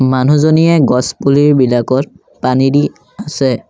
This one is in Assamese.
মানুহজনীয়ে গছ পুলিবিলাকত পানী দি আছে।